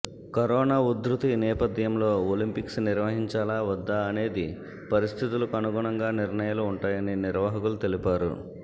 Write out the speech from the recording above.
corona ఉదృతి నేపథ్యంలో Olympics నిర్వహించాలా వద్దా అనేది పరిస్థితులకు అనుగుణంగా నిర్ణయాలు ఉంటాయని నిర్వాహకులు తెలిపారు